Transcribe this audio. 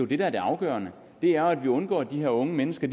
det der er det afgørende er jo at vi undgår at de unge mennesker